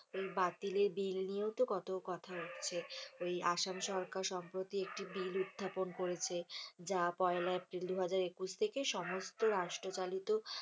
এই বাতিলের বিল নিয়েও তো কত কথা উঠছে, ওই আসাম সরকার সম্প্রতি একটি বিল উত্থাপন করেছে যা পয়লা এপ্রিল দুহাজার একুশ থেকে সমস্ত রাষ্ট্রচলিত,